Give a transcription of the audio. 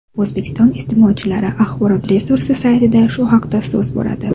O‘zbekiston iste’molchilari axborot resursi saytida shu haqda so‘z boradi .